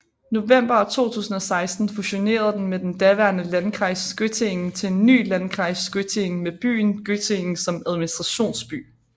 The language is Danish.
November 2016 fusionerede den med den daværende Landkreis Göttingen til en ny Landkreis Göttingen med byen Göttingen som administrationsby